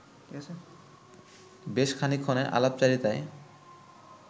বেশ খানিকক্ষণের আলাপচারিতায়